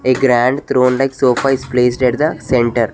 A grand throne like sofa is placed at the centre.